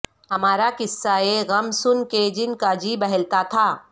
ہمارا قصہ غم سن کے جن کا جی بہلتا تھا